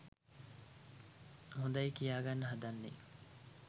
හොඳයි කියාගන්න හදන්නේ?